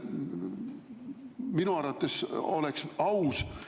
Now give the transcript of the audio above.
Minu arvates oleks aus, kui me …